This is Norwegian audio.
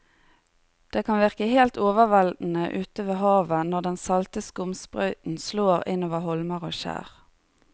Det kan virke helt overveldende ute ved havet når den salte skumsprøyten slår innover holmer og skjær.